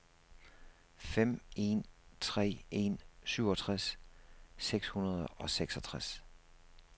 fem en tre en syvogtres seks hundrede og seksogtres